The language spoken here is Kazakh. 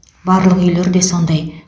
барлық үйлер де сондай